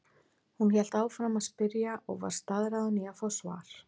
Hún hélt áfram að spyrja og var staðráðin í að fá svar.